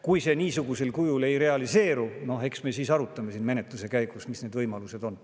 Kui see niisugusel kujul ei realiseeru, eks me siis aruta siin menetluse käigus, mis need võimalused on.